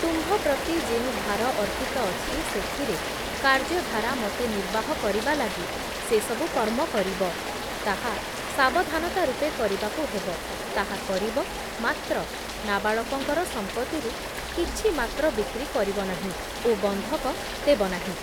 ତୁମ୍ଭ ପ୍ରତି ଯେଉଁ ଭାର ଅର୍ପିତ ଅଛି ସେଥିରେ କାର୍ଯ୍ୟ ଧାରା ମତେ ନିର୍ବାହ କରିବା ଲାଗି ସେ ସବୁ କର୍ମ କରିବ, ତାହା ସାବଧାନତା ରୂପେ କରିବାକୁ ହେବ ତାହା କରିବ ମାତ୍ର ନାବାଳକଙ୍କର ସଂପତ୍ତିରୁ କିଛି ମାତ୍ର ବିକ୍ରି କରିବ ନାହିଁ ଓ ବନ୍ଧକ ଦେବ ନାହିଁ ।